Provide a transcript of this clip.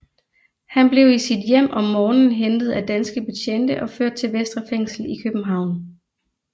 Han blev i sit hjem om morgenen hentet af danske betjente og ført til Vestre Fængsel i København